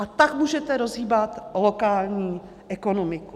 A tak můžete rozhýbat lokální ekonomiku.